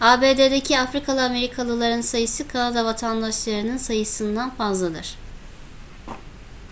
abd'deki afrikalı amerikalıların sayısı kanada vatandaşlarının sayısından fazladır